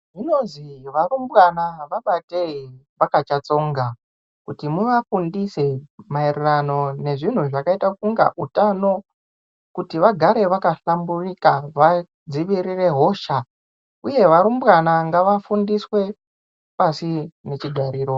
Zvinozi varumbwana vabatei vachakatsonga kuti muvafundise maererano nezvinhu zvakaita kunga utano kuti vagare wakahlamburika vadziwirire hosha uye varumbwana ngavafundiswe pasi ngechigariro.